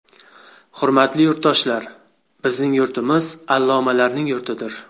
Hurmatli yurtdoshlar, bizning yurtimiz allomalarning yurtidir.